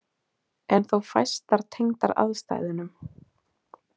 En þó fæstar tengdar aðstæðunum.